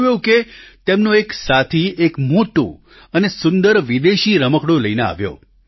થયું એવું કે તેમનો એક સાથી એક મોટું અને સુંદર વિદેશી રમકડું લઈને આવ્યો